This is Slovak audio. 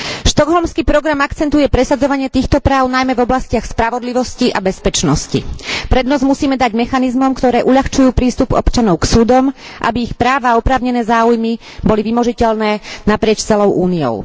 Štokholmský program akcentuje presadzovanie týchto práv najmä v oblastiach spravodlivosti a bezpečnosti. Prednosť musíme dať mechanizmom, ktoré uľahčujú prístup občanov k súdom, aby ich práva a oprávnené záujmy boli vymožiteľné naprieč celou Úniou.